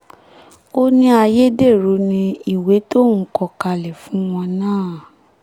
ó ní ayédèrú ni ìwé tóun kọ kalẹ̀ fún wọn náà